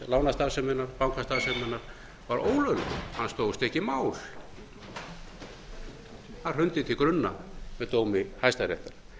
lánastarfseminnar bankastarfseminnar var ólöglegt hann stóðst ekki mál hann hrundi til grunna með dómi hæstaréttar